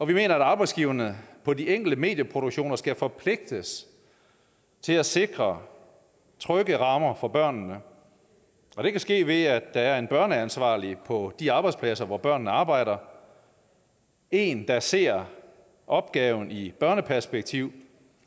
vi mener at arbejdsgiverne på de enkelte medieproduktioner skal forpligtes til at sikre trygge rammer for børnene og det kan ske ved at der er en børneansvarlig på de arbejdspladser hvor børnene arbejder en der ser opgaven i børneperspektiv